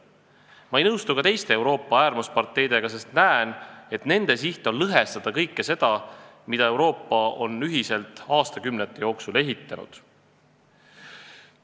Ma ei nõustu ka teiste Euroopa äärmusparteidega, sest näen, et nende siht on lõhestada kõike seda, mida Euroopa on ühiselt aastakümnete jooksul ehitanud.